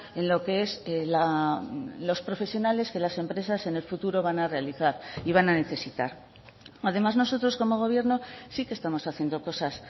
en lo que es los profesionales que las empresas en el futuro van a realizar y van a necesitar además nosotros como gobierno sí que estamos haciendo cosas